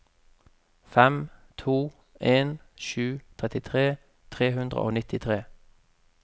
fem to en sju trettitre tre hundre og nittitre